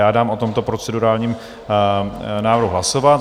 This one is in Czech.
Já dám o tomto procedurálním návrhu hlasovat.